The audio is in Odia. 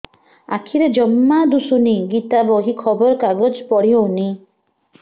ଆଖିରେ ଜମା ଦୁଶୁନି ଗୀତା ବହି ଖବର କାଗଜ ପଢି ହଉନି